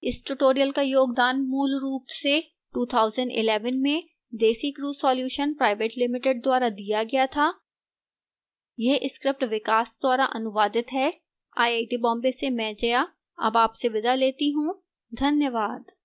इस tutorial का योगदान मूलरूप से 2011 में desicrew solutions pvt ltd द्वारा दिया गया था यह स्क्रिप्ट विकास द्वारा अनुवादित है आईआईटी बॉम्बे से मैं जया अब आपसे विदा लेती हूँ धन्यवाद